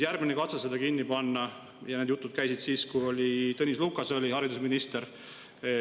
Järgmine katse seda kinni panna oli siis, kui Tõnis Lukas oli haridusminister.